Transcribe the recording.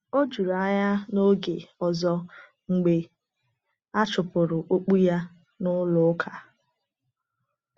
O jụrụ anya n’oge ọzọ mgbe a chụpụrụ okpu ya n’ụlọ ụka.